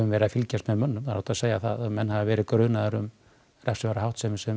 verið að fylgjast með mönnum það er óhætt að segja það að menn hafi verið grunaðir um refsiverða háttsemi sem